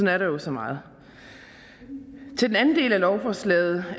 er der jo så meget til den anden del af lovforslaget